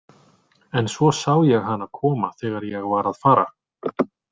En svo sá ég hana koma þegar ég var að fara.